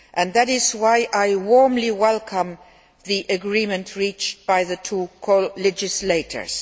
That is why I warmly welcome the agreement reached by the two co legislators.